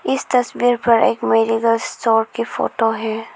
इस तस्वीर पर एक मेडिकल स्टोर की फोटो है।